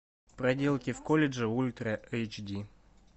проделки в колледже ультра эйч ди